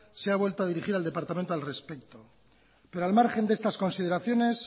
se ha vuelto a dirigir al departamento al respecto pero al margen de estas consideraciones